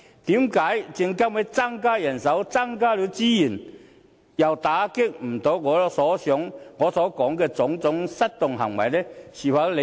為何證監會增加人手、增加資源後，又無法打擊我所提及的種種失當行為呢？